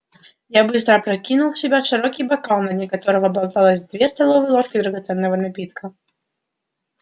я быстро опрокинул в себя широкий бокал на дне которого болталось две столовые ложки драгоценного напитка